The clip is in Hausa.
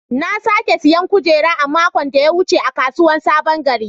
Na sake siyan kujera a makon da ya wuce a kasuwar sabon gari.